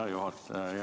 Hea juhataja!